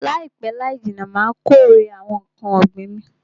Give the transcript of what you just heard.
Laipe laijinna Ma kórè awon nkan ogbin